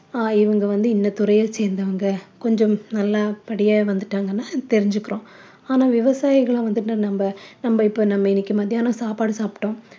ஆஹ் இவங்க வந்து இந்த துறைய சேர்ந்தவங்க கொஞ்சம் நல்லா படிய வந்துட்டாங்கனா தெரிஞ்சிக்கிறோம் ஆனால் விவசாயிகள வந்து நம்ம நம்ம இப்ப நம்ம இன்னைக்கு மத்தியானம் சாப்பாடு சாப்பிட்டோம்